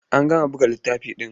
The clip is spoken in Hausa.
An gama buga buletin ɗin?